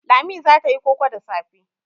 Lami za ta yi koko da safe.